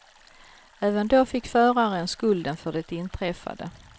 Även då fick föraren skulden för det inträffade.